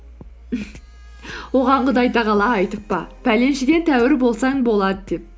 оған құдай тағала айтып па пәленшеден тәуір болсаң болады деп